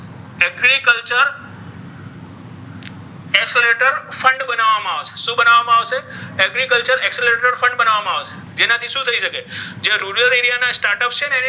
શુ બનાવવા મા આવશે agriculture exeleration fed બનાવવામા આવશે જેનાથી શુ થઇ શકે જેને rurel area ના start up છે ને.